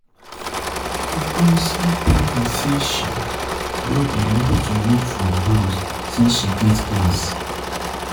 Ngọzi tell me Ngọzi tell me say she no dey like to work from house say she get class